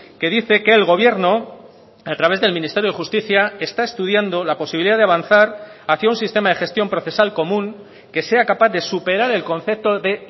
que dice que el gobierno a través del ministerio de justicia está estudiando la posibilidad de avanzar hacia un sistema de gestión procesal común que sea capaz de superar el concepto de